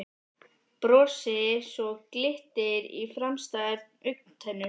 Brosi svo glittir í framstæðar augntennur.